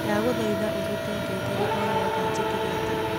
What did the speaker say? ndagũthaitha ũrute ngengere oyothe njĩkĩrĩte